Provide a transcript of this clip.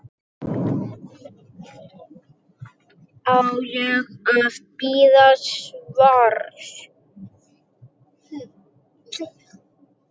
Á ég að bíða svars?